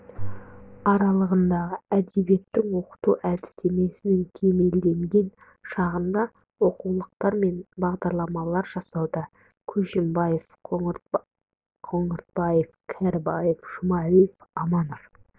аралығындағы әдебиетті оқыту әдістемесінің кемелденген шағында оқулықтар мен бағдарламалар жасауда көшімбаев қоңыратбаев кәрібаев жұмалиев аманов